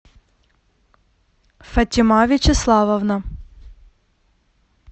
фатима вячеславовна